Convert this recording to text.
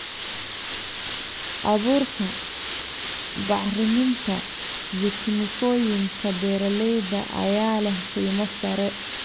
Abuurka, bacriminta, iyo kiimikooyinka beeralayda ayaa leh qiimo sare.